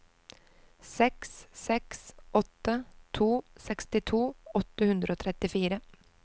seks seks åtte to sekstito åtte hundre og trettifire